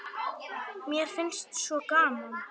Mér finnst svo gaman!